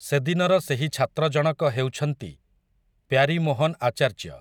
ସେଦିନର ସେହି ଛାତ୍ରଜଣକ ହେଉଛନ୍ତି, ପ୍ୟାରିମୋହନ୍ ଆଚାର୍ଯ୍ୟ ।